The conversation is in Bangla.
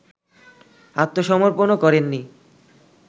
আত্মসমর্পণও করেননি